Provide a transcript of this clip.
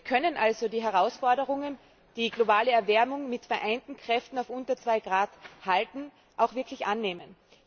Wir können also die Herausforderung, die globale Erwärmung mit vereinten Kräften auf unter 2 Grad zu halten, auch wirklich annehmen.